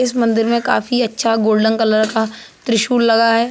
इस मंदिर में काफी अच्छा गोल्डन कलर का त्रिशूल लगा है।